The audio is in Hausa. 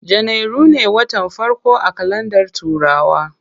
Janairu ne watan farko a kalandar turawa.